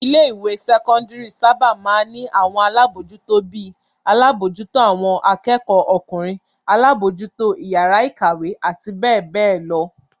Ilé-ìwé sẹ́kọ́ndárì sábà máa ń ní àwọn alábòójútó bí i; alábòójútó àwọn akẹ́kọ̀ọ́ ọkùnrin, alábòójútó ìyàrá-ìkàwé àti bẹ́ẹ̀ bẹ́ẹ̀ lọ.